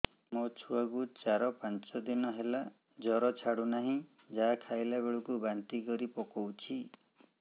ମୋ ଛୁଆ କୁ ଚାର ପାଞ୍ଚ ଦିନ ହେଲା ଜର ଛାଡୁ ନାହିଁ ଯାହା ଖାଇଲା ବେଳକୁ ବାନ୍ତି କରି ପକଉଛି